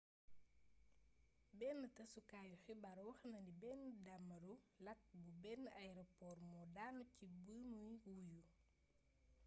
bénn tassukaayu xibaar waxnani bénn daamaru lakk bu bénn airport moo daanu ci bimuy wuyu